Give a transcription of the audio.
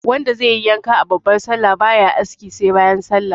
Wanda zaiyi yanka a babbar sallah baya aski sai bayan sallah